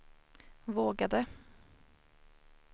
vågade